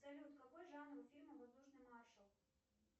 салют какой жанр фильма воздушный маршал